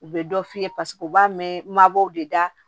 U bɛ dɔ f'i ye paseke u b'a mɛn mabɔw de da